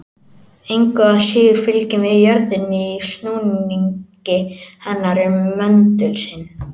Engu að síður fylgjum við jörðinni í snúningi hennar um möndul sinn.